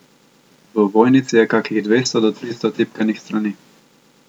V ovojnici je kakih dvesto do tristo tipkanih strani.